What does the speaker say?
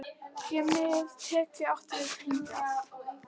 Sé með tekjum átt við hagnað?